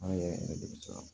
An yɛrɛ yɛrɛ de bɛ caya